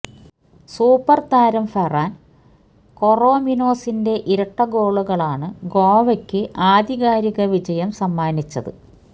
super താരം Ferran കൊറോമിനോസിന്റെ ഇരട്ടഗോളുകളാണ് ഗോവയ്ക്കു ആധികാരിക വിജയം സമ്മാനിച്ചത്